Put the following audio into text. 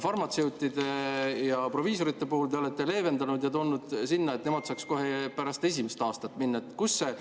Farmatseutide ja proviisorite puhul te olete aga leevendanud ja toonud sinna juurde, et nemad saaks kohe pärast esimest aastat minna.